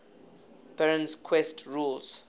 perrin's quest rules